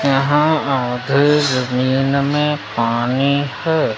यहां आधे जमीन में पानी है।